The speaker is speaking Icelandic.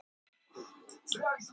Farið að rigna fyrir austan